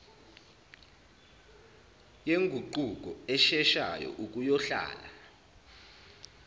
yenguquko esheshayo ukuyohlala